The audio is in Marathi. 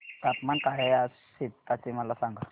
तापमान काय आहे आज सेप्पा चे मला सांगा